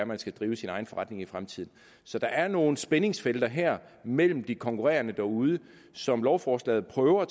man skal drive sin egen forretning i fremtiden så der er nogle spændingsfelter her mellem de konkurrerende derude som lovforslaget prøver at